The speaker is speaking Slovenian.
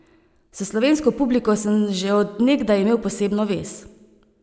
S slovensko publiko sem že od nekdaj imel posebno vez.